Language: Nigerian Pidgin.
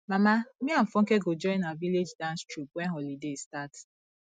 mama me and funke go join our village dance troupe wen holiday start